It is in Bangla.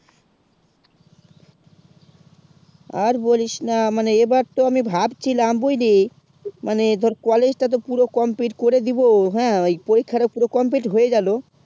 আর বলিস না এইবার তো আমি ভাব ছিলাম বুঝলি মানে ধর college টা তো পুরো complete করে দিব হেঁ ঐই পরীক্ষা তা সুদ complete হয়ে গেলো